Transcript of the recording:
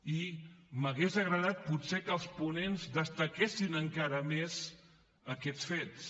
i m’hauria agradat potser que els ponents destaquessin encara més aquests fets